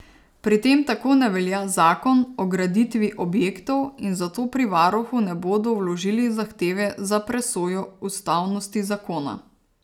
Pri tem tako ne velja zakon o graditvi objektov in zato pri varuhu ne bodo vložili zahteve za presojo ustavnosti zakona.